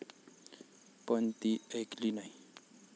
पण ती ऐकली नाही.